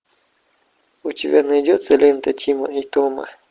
у тебя найдется лента тима и тома